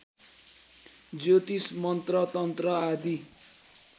ज्योतिष मन्त्रतन्त्र आदि